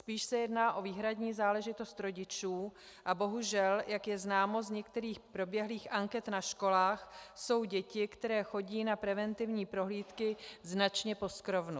Spíš se jedná o výhradní záležitost rodičů a bohužel, jak je známo z některých proběhlých anket na školách, je dětí, které chodí na preventivní prohlídky, značně poskrovnu.